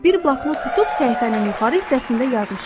Bir bloknot tutub səhifənin yuxarı hissəsində yazmışam: